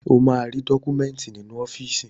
O máa rí dọ́kúmẹ́ńtì nínú ọ́fíìsì.